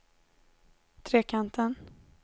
Trekanten